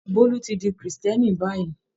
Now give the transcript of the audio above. Bólú tí di Kírísítẹ́nì báyìí.